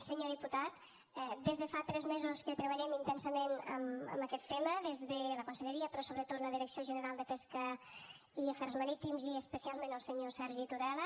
senyor diputat des de fa tres mesos treballem intensament en aquest tema des de la conselleria però sobretot la direcció general de pesca i afers marítims i especialment el senyor sergi tudela